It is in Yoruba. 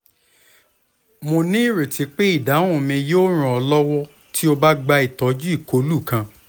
mo nireti pe idahun mi yoo ran ọ lọwọ ti o ba gba itọju ikolu kan